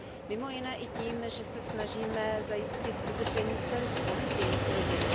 Mimo jiné i tím, že se snažíme zajistit udržení celistvosti jejich rodin.